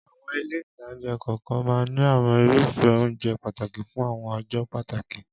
Àwọn ilé-ìtánjẹ kokan maa n ní àwọn irufe ounje pataki fun awon ọjọ́ pàtàkì